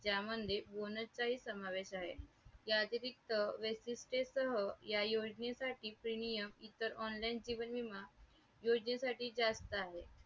त्या मध्ये bonus समावेश आहे वैशिट्ये सह या योजने साठी premium इतर online जीवन विमा योजनेसाठी जास्त आहे.